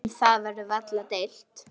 Um það verður varla deilt.